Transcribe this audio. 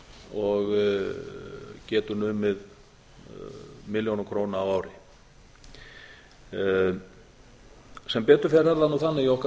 og getur numið milljónum króna á ári sem betur fer er það nú þannig í okkar